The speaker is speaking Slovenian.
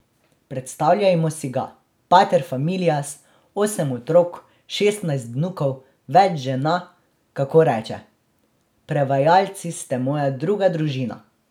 Predstavljajmo si ga, pater familias, osem otrok, šestnajst vnukov, več žena, kako reče: 'Prevajalci ste moja druga družina.